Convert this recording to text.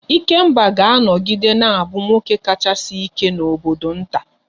Ikemba ga-anọgide na-abụ nwoke kachasị ike n'obodo nta